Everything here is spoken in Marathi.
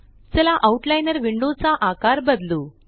चला आउटलाइनर विंडो चा आकार बदलू